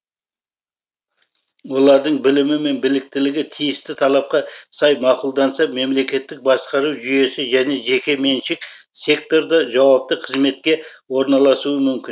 олардың білімі мен біліктілігі тиісті талапқа сай мақұлданса мемлекеттік басқару жүйесі және жеке меншік секторда жауапты қызметке орналасуы мүмкін